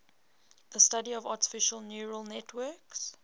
the study of artificial neural networks